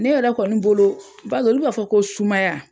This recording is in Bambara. Ne yɛrɛ kɔni bolo bar'olu b'a fɔ ko sumaya